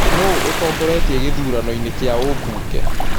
nũũ ũtongoretĩe gĩthũranoĩnĩ kĩa ũbunge